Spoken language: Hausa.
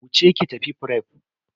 Wuce ki tafi fref.